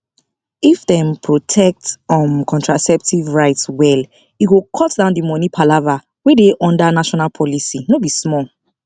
if dem protect um contraceptive rights well e go cut down the money palava wey dey under national policy no be small